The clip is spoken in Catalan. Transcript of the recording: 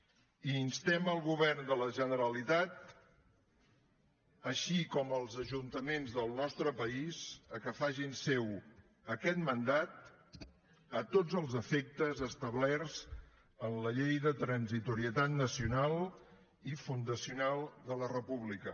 i instem el govern de la generalitat així com els ajuntaments del nostre país a que facin seu aquest mandat a tots els efectes establerts en la llei de transitorietat nacional i fundacional de la república